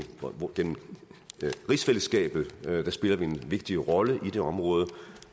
rigsfællesskabet spiller vi en vigtig rolle i det område